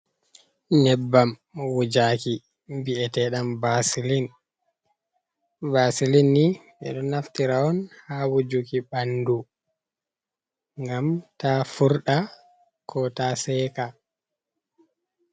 Nyebbam wujuki vi'eteɗam basilin, basilinni ɓeɗo naftira on ha wujuki ɓandu, ngam ta furɗa, ko ta seka.